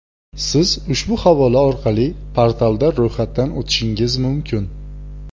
Siz ushbu havola orqali portalda ro‘yxatdan o‘tishingiz mumkin: .